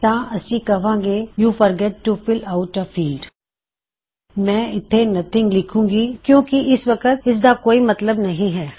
ਤਾਂ ਅਸੀਂ ਕਵਾਂ ਗੇ you forgot to fill out a field ਮੈਂ ਇਥੇ ਨਥਿੰਗ ਲਿਖੂੰਗੀ ਕਿੳਂ ਕਿ ਇਸ ਵਕਤ ਇਸਦਾ ਕੋਈ ਮਤਲਬ ਨਹੀ ਹੈ